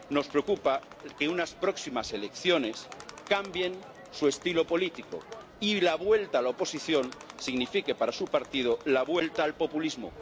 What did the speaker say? Nos preocupa que unas próximas elecciones cambien su estilo político y la vuelta a la oposición signifique para su partido la vuelta al populismo.